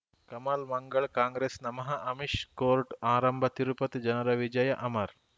ಕಮಲ್ ಮಂಗಳ್ ಕಾಂಗ್ರೆಸ್ ನಮಃ ಅಮಿಷ್ ಕೋರ್ಟ್ ಆರಂಭ ತಿರುಪತಿ ಜನರ ವಿಜಯ ಅಮರ್